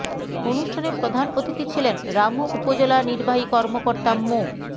অনুষ্ঠানে প্রধান অতিথি ছিলেন রামু উপজেলা নির্বাহী কর্মকর্তা মো